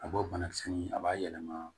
A b'o banakisɛ ɲini a b'a yɛlɛma